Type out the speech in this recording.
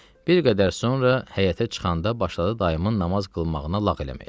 Bir qədər sonra həyətə çıxanda başladı dayımın namaz qılmağına lağ eləməyə.